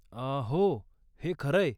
अं हो, हे खरंय.